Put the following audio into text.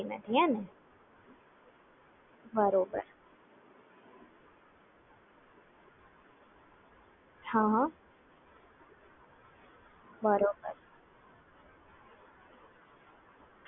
બરાબર